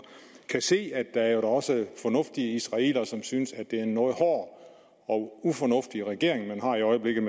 kan se at der jo da også er fornuftige israelere som synes at det er en noget hård og ufornuftig regering man har i øjeblikket